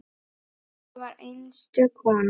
Dóra var einstök kona.